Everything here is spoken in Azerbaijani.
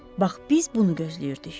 Bax, biz bunu gözləyirdik.